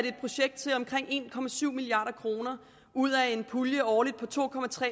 et projekt til omkring en milliard kroner ud af en pulje årligt på to